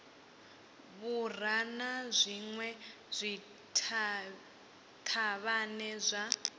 vhura na zwinwe zwithavhani zwa